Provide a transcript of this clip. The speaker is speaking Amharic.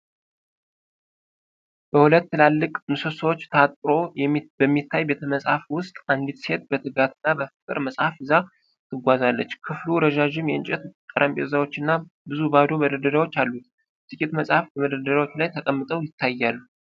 በሁለት ትላልቅ ምሰሶዎች ታጥሮ በሚታይ ቤተ-መጻሕፍት ውስጥ፣ አንዲት ሴት በትጋት እና በፍቅር መጽሐፍ ይዛ ትጓዛለች። ክፍሉ ረዣዥም የእንጨት ጠረጴዛዎች እና ብዙ ባዶ መደርደሪያዎች አሉት፤ ጥቂት መጻሕፍት በመደርደሪያዎቹ ላይ ተቀምጠው ይታያሉ።